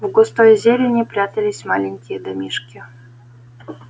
в густой зелени прятались маленькие домишки